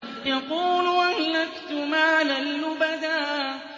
يَقُولُ أَهْلَكْتُ مَالًا لُّبَدًا